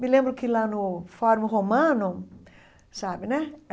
Me lembro que lá no Fórum Romano, sabe, né?